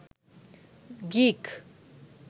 geek